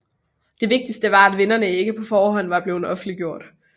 Den vigtigse var at vinderne ikke på forhånd var blevet offentliggjort